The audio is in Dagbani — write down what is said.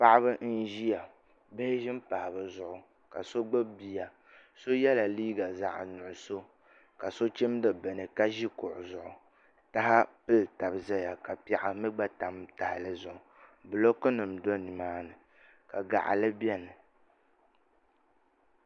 Paɣaba n ʒiya bia ʒi n pahi bi zuɣu so yɛla liiga zaɣ nuɣso ka so chimdi bini ka ʒi kuɣu zuɣu tahapili taba ʒɛya ka piɛɣu mii gba tam tahali zuɣu bulooku nim bɛ nimaani ka gaɣili biɛni